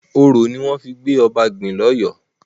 Orò ni wón fíí gbé oba gbìn l'Óyó.